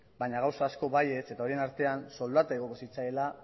baina gauza asko baietz eta horien artean soldata igoko zitzaiela